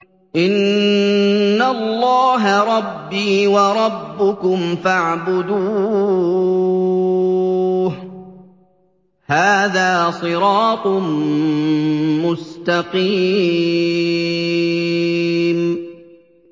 إِنَّ اللَّهَ رَبِّي وَرَبُّكُمْ فَاعْبُدُوهُ ۗ هَٰذَا صِرَاطٌ مُّسْتَقِيمٌ